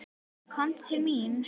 Komdu til mín.